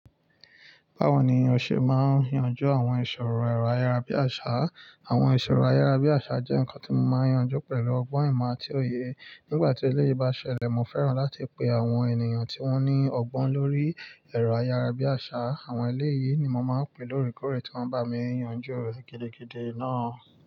Báwo ni o ṣe máa yanju àwọn ìṣòro ẹ̀rọ ayárabíàṣá? Àwọn ìṣòro ayárabíàṣá jẹ́ nǹkan tí mo máa yanju pẹ̀lú ọgbọ́n ìmọ̀ àti òye. Nígbà tí eléyìí bá ṣẹlẹ̀, mo fẹ́ràn láti pe àwọn ènìyàn tí wọ́n ní ọgbọ́n lórí ẹ̀rọ ayárabíàṣá. Àwọn eléyìí ni mo máa ń pè lórí kórè tí wọ́n bá mi yanjú òrò gidigidi náà.